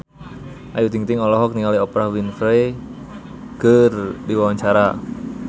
Ayu Ting-ting olohok ningali Oprah Winfrey keur diwawancara